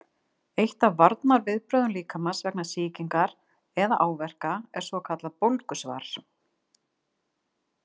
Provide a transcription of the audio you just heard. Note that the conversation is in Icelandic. Eitt af varnarviðbrögðum líkamans vegna sýkingar eða áverka er svokallað bólgusvar.